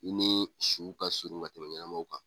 I ni su kasurun ka tɛmɛ ɲɛnamaw kan.